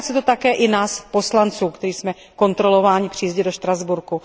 Týká se to také i nás poslanců, kteří jsme kontrolováni při jízdě do Štrasburku.